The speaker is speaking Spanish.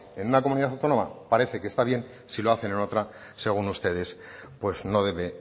en una comunidad autónoma parece que está bien si lo hacen en otra según ustedes pues no debe